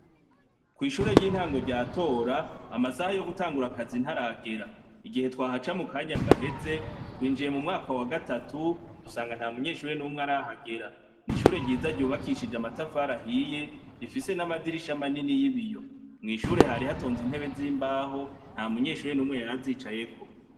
Kw'ishure ry'intango rya Tora amasaha yo gutangura akazi ntaragera .Igihe twahaca mu kanya gaheze twinjiye mumwaka wagatatu dusanga nta munyeshure numwe arahagera. N 'ishure ryiza ryubakishije amatafari ahiye rifise n'amadirisha manini y'ibiyo ,mw'ishure hari hatonze intebe z'imbaho nta munyeshure numwe yarazicayeko.